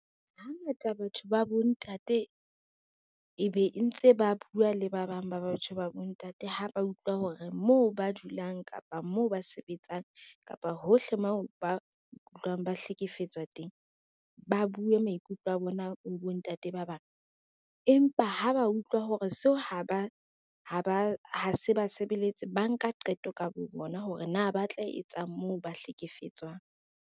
Hangata batho ba bontate ebe e ntse ba bua le ba bang ba batho ba bontate ha ba utlwa hore moo ba dulang, kapa moo ba sebetsang, kapa hohle moo ba utlwang ba hlekefetswa teng, ba bue maikutlo a bona ho bontate ba bang. Empa ha ba utlwa hore seo ha se basebeletse ba nka qeto ka bo bona hore na ba tla etsa mo ba hlekefetswang.